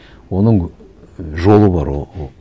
оның жолы бар